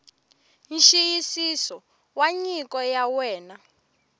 nxiyisiso wa nyiko ya wena